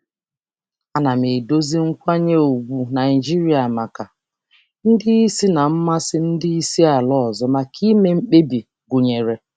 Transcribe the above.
Ana m edozi nkwanye ùgwù Naijiria maka ndị isi na mmasị ndị isi ala ọzọ maka ime mkpebi gụnyere.